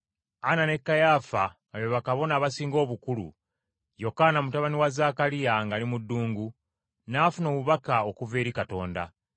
Ana ne Kayaafa nga be Bakabona Abasinga Obukulu, Yokaana, mutabani wa Zaakaliya ng’ali mu ddungu, n’afuna obubaka obuva eri Katonda.